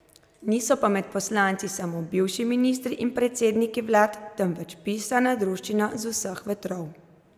Niso pa med poslanci samo bivši ministri in predsedniki vlad, temveč pisana druščina z vseh vetrov.